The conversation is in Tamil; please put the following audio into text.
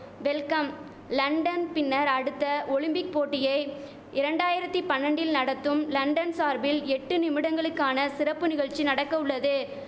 வெல்கம் லண்டன் பின்னர் அடுத்த ஒலிம்பிக் போட்டியை இரண்டாயிரத்தி பன்னண்டில் நடத்தும் லண்டன் சார்பில் எட்டு நிமிடங்களுக்கான சிறப்பு நிகழ்ச்சி நடக்க உள்ளது